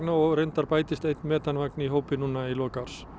og reyndist bætist einn metanvagn í hópinn í lok árs